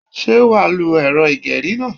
Sé wàá lo èrọ ìgerí náà?